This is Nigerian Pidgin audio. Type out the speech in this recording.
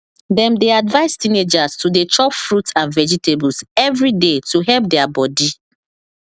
dem dey advise teenagers to dey chop fruit and vegetables every day to help their body